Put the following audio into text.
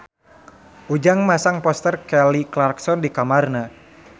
Ujang masang poster Kelly Clarkson di kamarna